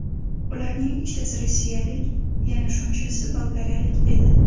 Ularning ikkitasi rossiyalik, yana shunchasi bolgariyalik edi.